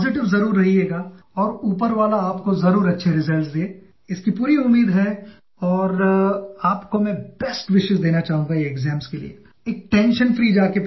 Many of you are going to be tense about them